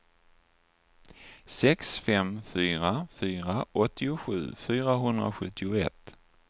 sex fem fyra fyra åttiosju fyrahundrasjuttioett